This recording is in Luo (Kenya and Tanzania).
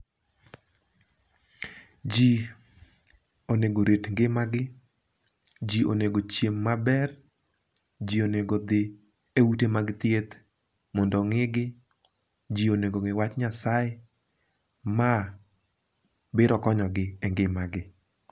Ji onego orit ngima gi, ji onego ochiem maber, ji onego odhi e ute mag thieth mondo ong'i gi, ji mondo ong'e wach Nyasaye, ma biro konyo gi e ngima gi.